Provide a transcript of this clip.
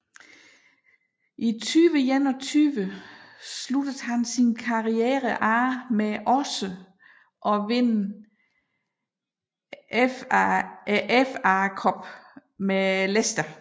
I 2021 sluttede han sin karriere af med også at vinde FA Cuppen med Leicester